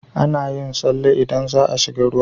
Ana yin tsale idan za a shiga ruwa.